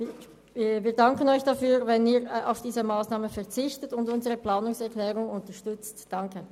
Wir danken Ihnen, wenn Sie auf diese Massnahmen verzichten und unsere Planungserklärung unterstützen.